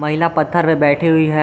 पीला पत्थर पे बैठी हुई है।